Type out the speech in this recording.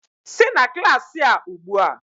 Sị na klaasị a ugbu a!